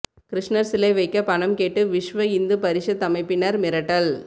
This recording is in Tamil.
கிருஷ்ணர் சிலை வைக்க பணம் கேட்டு விஷ்வஇந்து பரிஷத் அமைப்பினர் மிரட்டல்